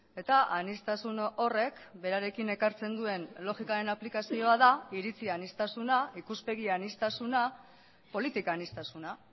eta aniztasun horrek berarekin ekartzen duen logikaren aplikazioa da iritzi aniztasuna ikuspegi aniztasuna politika aniztasuna